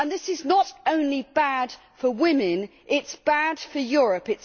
This is not only bad for women, it is bad for Europe.